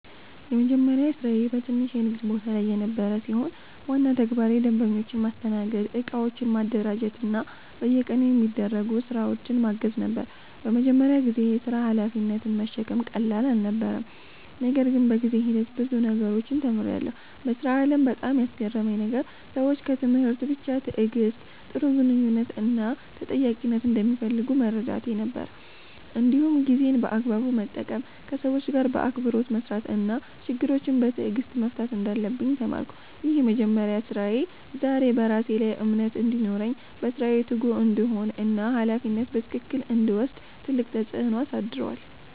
የመጀመሪያ ስራዬ በትንሽ የንግድ ቦታ ላይ የነበረ ሲሆን፣ ዋና ተግባሬ ደንበኞችን ማስተናገድ፣ እቃዎችን ማደራጀት እና በየቀኑ የሚደረጉ ስራዎችን ማገዝ ነበር። በመጀመሪያ ጊዜ የሥራ ሀላፊነትን መሸከም ቀላል አልነበረም፣ ነገር ግን በጊዜ ሂደት ብዙ ነገሮችን ተምሬያለሁ። በሥራ ዓለም ላይ በጣም ያስገረመኝ ነገር ሰዎች ከትምህርት ብቻ በላይ ትዕግሥት፣ ጥሩ ግንኙነት እና ተጠያቂነትን እንደሚፈልጉ መረዳቴ ነበር። እንዲሁም ጊዜን በአግባቡ መጠቀም፣ ከሰዎች ጋር በአክብሮት መስራት እና ችግሮችን በትዕግሥት መፍታት እንዳለብኝ ተማርኩ። ይህ የመጀመሪያ ስራዬ ዛሬ በራሴ ላይ እምነት እንዲኖረኝ፣ በስራዬ ትጉ እንድሆን እና ሀላፊነትን በትክክል እንድወስድ ትልቅ ተጽዕኖ አሳድሯል።